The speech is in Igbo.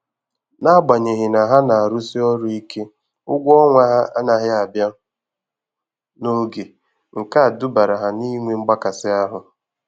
N'agbanyeghị na ha na-arụsi ọrụ íke ụgwọ ọnwa ha anaghị abia n'oge, nke a dubara ha n' inwe mgbakasị ahụ.